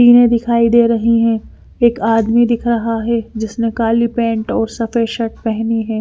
टीने दिखाई दे रही हैं एक आदमी दिख रहा है जिसने काली पैंट और सफेद शर्ट पहनी है।